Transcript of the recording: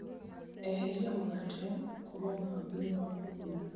Eheria mũgate kuma mũbango-inĩ wa ũgũri